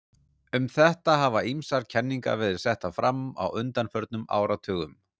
Um þetta hafa ýmsar kenningar verið settar fram á undanförnum áratugum.